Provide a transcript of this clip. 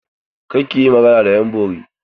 Kar ki yi magana da ƴan bori!